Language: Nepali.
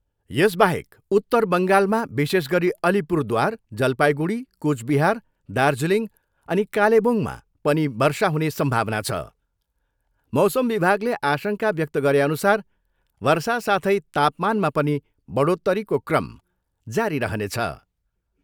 यसबाहेक उत्तर बङ्गालमा विशेष गरी अलिपुरद्वार, जलपाइगुडी, कुचबिहार दार्जीलिङ अनि कालेबुङमा पनि वर्षा हुने सम्भावना छ। मौसम विभागले आशङ्का व्यक्त गरे अनुसार वर्षा साथै तापमानमा पनि बढोत्तरीको क्रम जारी रहनेछ।